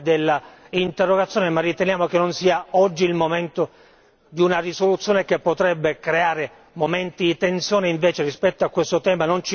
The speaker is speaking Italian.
Siamo a favore dell'interrogazione, ma riteniamo che non sia oggi il momento di una risoluzione che potrebbe creare momenti di tensione.